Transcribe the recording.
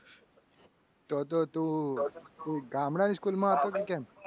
તો તો તું ગામડાની school માં હતો કે કેમ?